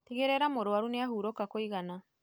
Tigĩrĩra mũrwaru nĩahurũka kũigana.